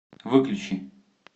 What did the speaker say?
выключи